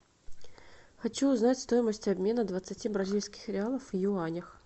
хочу узнать стоимость обмена двадцати бразильских реалов в юанях